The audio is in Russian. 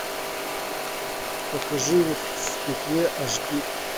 покажи в петле аш ди